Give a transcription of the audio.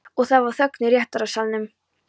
Og það var þögn í réttarsalnum.